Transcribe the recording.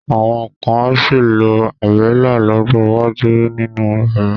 Àwọn kan á sì lo Àbẹ́lá lọ́jọ́ iwájú sínú yàrá.